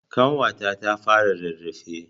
Ƙanwata ta fara rarrafe.